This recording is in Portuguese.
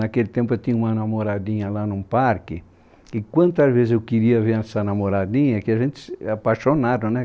Naquele tempo eu tinha uma namoradinha lá num parque, e quantas vezes eu queria ver essa namoradinha, que a gente é apaixonado, né?